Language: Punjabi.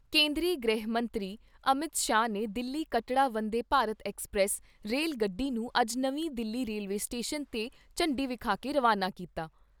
ਕੇਂਦਰੀ ਗ੍ਰਹਿ ਮੰਤਰੀ ਅਮਿਤ ਸ਼ਾਹ ਨੇ ਦਿੱਲੀ ਕਟੌੜਾ ਵੰਦੇ ਭਾਰਤ ਐੱਕਸਪ੍ਰੈਸ ਰੇਲ ਗੱਡੀ ਨੂੰ ਅੱਜ ਨਵੀਂ ਦਿੱਲੀ ਰੇਲਵੇ ਸਟੇਸ਼ਨ ਤੇ ਝੰਡੀ ਵਿਖਾ ਕੇ ਰਵਾਨਾ ਕੀਤਾ।